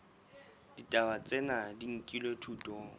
ditaba tsena di nkilwe thutong